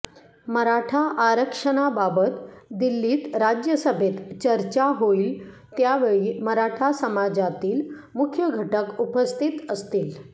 मराठा आरक्षणाबाबत दिल्लीत राज्यसभेत चर्चा होईल त्यावेळी मराठा समाजातील मुख्य घटक उपस्थित असतील